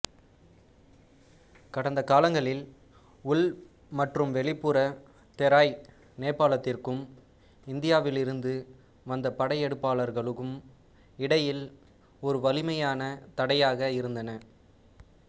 கடந்த காலங்களில் உள் மற்றும் வெளிப்புற தெராய் நேபாளத்திற்கும் இந்தியாவிலிருந்து வந்த படையெடுப்பாளர்களுக்கும் இடையில் ஒரு வலிமையான தடையாக இருந்தன